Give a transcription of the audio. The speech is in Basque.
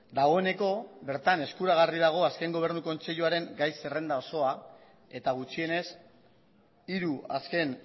dagoeneko bertan eskuragarri dago azken gobernu kontseiluaren gai zerrenda osoa eta gutxienez hiru azken